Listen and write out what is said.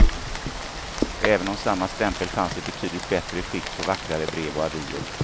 Även om samma stämpel fanns i betydligt bättre skick på vackra brev och avier.